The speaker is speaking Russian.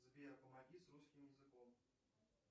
сбер помоги с русским языком